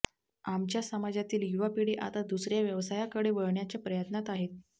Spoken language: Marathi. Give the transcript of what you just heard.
आमच्या समाजातील युवा पिढी आता दुसऱया व्यवसायाकडे वळण्याच्या प्रयत्नात आहे